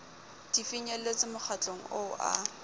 di finyelletse mokgatlong oo a